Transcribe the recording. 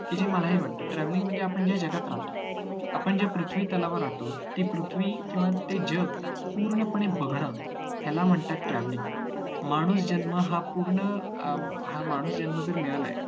ते महालही वाटते travelling म्हणजे आपण ज्या जगात राहतो आपण ज्या पृथ्वीतलावर राहतो ते पृथ्वी किंवा जग पूर्णपणे बघणं याला म्हणतात travelling हा माणूस जन्म पूर्ण, हा माणूस जन्म जो मिळाला आहे